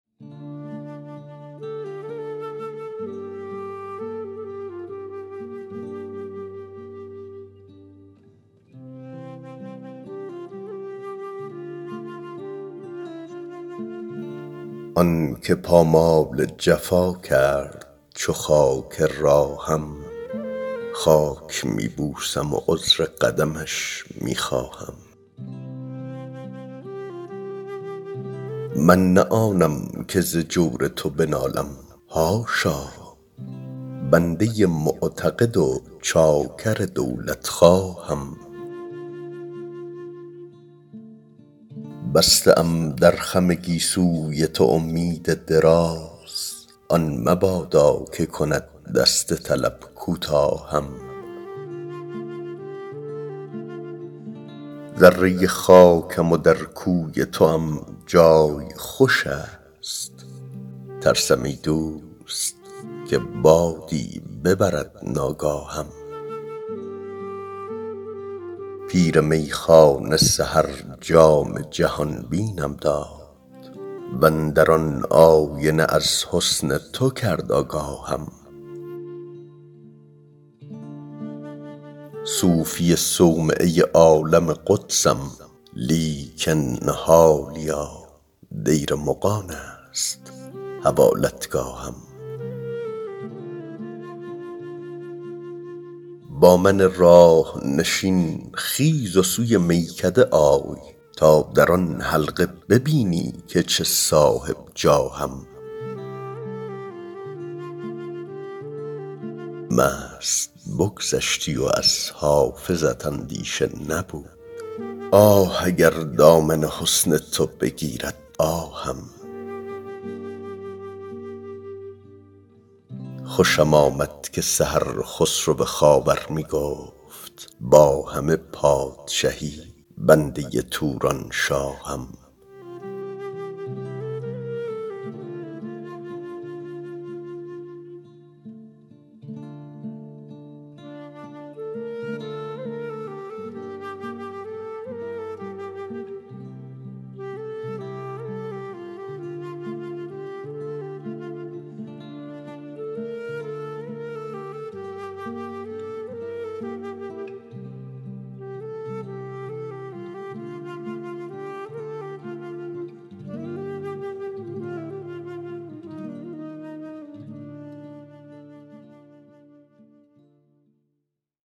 آن که پامال جفا کرد چو خاک راهم خاک می بوسم و عذر قدمش می خواهم من نه آنم که ز جور تو بنالم حاشا بنده معتقد و چاکر دولتخواهم بسته ام در خم گیسوی تو امید دراز آن مبادا که کند دست طلب کوتاهم ذره خاکم و در کوی توام جای خوش است ترسم ای دوست که بادی ببرد ناگاهم پیر میخانه سحر جام جهان بینم داد و اندر آن آینه از حسن تو کرد آگاهم صوفی صومعه عالم قدسم لیکن حالیا دیر مغان است حوالتگاهم با من راه نشین خیز و سوی میکده آی تا در آن حلقه ببینی که چه صاحب جاهم مست بگذشتی و از حافظت اندیشه نبود آه اگر دامن حسن تو بگیرد آهم خوشم آمد که سحر خسرو خاور می گفت با همه پادشهی بنده تورانشاهم